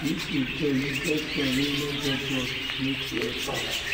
if you get you get friend wey no get job make you help am